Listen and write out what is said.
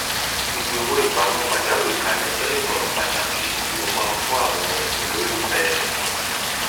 gbígbé owó ìpamọ pajawírí kalẹ jẹ ìmọràn pàtàkì tí mo máa ń fún àwọn olólùfẹ